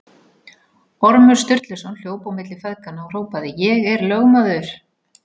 Ormur Sturluson hljóp á milli feðganna og hrópaði: Ég er lögmaður!